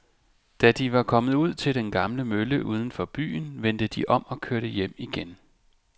Da de var kommet ud til den gamle mølle uden for byen, vendte de om og kørte hjem igen.